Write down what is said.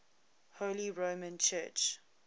holy roman church